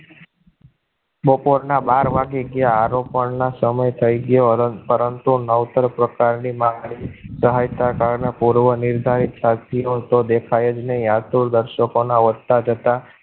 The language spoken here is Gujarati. બપોર ના બાર વાગ્યા આરોપો ના સમય થયો, પરંતુ નવ તર પ્રકાર ની માંગણી સહાયતા કારણે પૂર્વ નિર્ધારિત સાથિયો તો દેખાયજ ને યાતો દર્શકો ના વધતા જતા